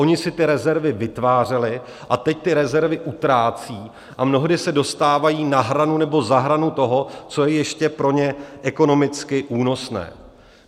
Oni si ty rezervy vytvářeli a teď ty rezervy utrácejí a mnohdy se dostávají na hranu nebo za hranu toho, co je ještě pro ně ekonomicky únosné.